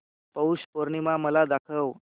पौष पौर्णिमा मला दाखव